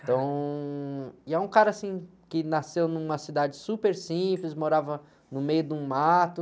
Então, e é um cara, assim, que nasceu numa cidade super simples, morava no meio de um mato.